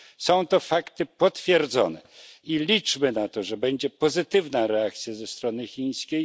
Są to fakty potwierdzone, i liczmy na to, że będzie pozytywna reakcja ze strony chińskiej.